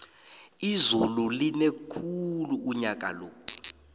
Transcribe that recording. izulu line khulu unyakalo